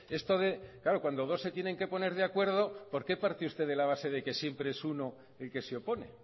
esto de claro cuando dos se tienen que poner de acuerdo por qué parte usted de la base de que siempre es uno el que se opone